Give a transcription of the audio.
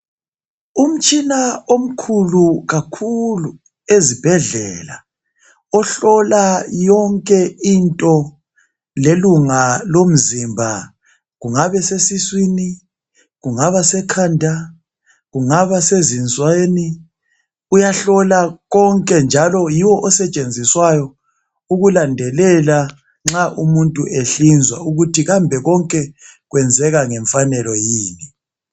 Umtshina omkhulu kakhulu ezibhedlela ohlola yonke into lelunga lomzimba kungaba seswisini, kungaba sekhanda kungaba sezinsweni uyahlola konke njalo yiwo osetshenziswayo ukulandelela nxa umuntu ehlinzwa ukuthi kambe konke kwenzeka ngemfanelo yini.